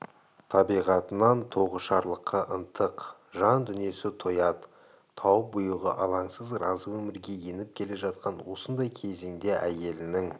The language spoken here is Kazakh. табиғатынан тоғышарлыққа ынтық жан дүниесі тоят тауып бұйығы алаңсыз разы өмірге еніп келе жатқан осындай кезеңде әйелінің